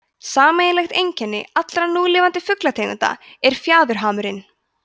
sameiginlegt einkenni allra núlifandi fuglategunda er fjaðurhamurinn